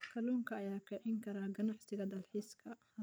Kalluunka ayaa kicin kara ganacsiga dalxiiska.